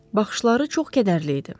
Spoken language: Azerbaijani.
Baxışları çox qədərli idi.